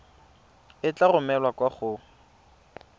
e tla romelwa kwa go